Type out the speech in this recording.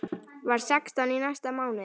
Verð sextán í næsta mánuði.